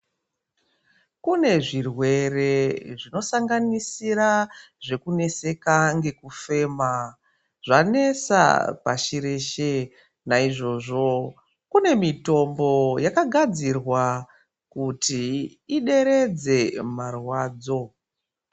Kune zvirwere zvinosanganisira zvekuneseka nekufema zvanesa pashi reshe naizvozvo kune mitombo yakagadzirwa kuti ideredze marwadzo.